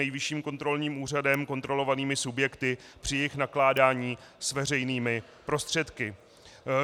Nejvyšším kontrolním úřadem kontrolovanými subjekty při jejich nakládání s veřejnými prostředky.